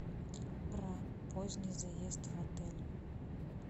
про поздний заезд в отель